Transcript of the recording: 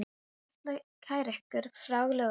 Ég ætla að kæra ykkur fyrir lögreglunni.